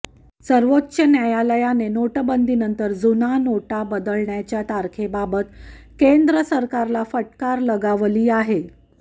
सर्वोच्च न्यायालयाने नोटाबंदीनंतर जुन्या नोटा बदलण्याच्या तारखेबाबत केंद्र सरकारला फटकार लगावली आहे